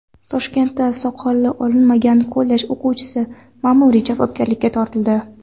Toshkentda soqoli olinmagan kollej o‘quvchisi ma’muriy javobgarlikka tortildi.